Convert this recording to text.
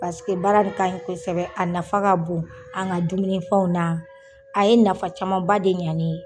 baara nin ka ɲi kosɛbɛ, a nafa ka bon an ŋa dumunifɛnw na, a ye nafa camanba de ɲa ne ye.